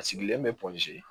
A sigilen bɛ